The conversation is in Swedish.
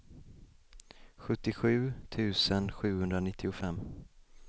sjuttiosju tusen sjuhundranittiofem